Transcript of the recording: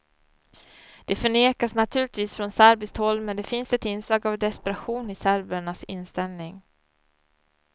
Det förnekas naturligtvis från serbiskt håll, men det finns ett inslag av desperation i serbernas inställning.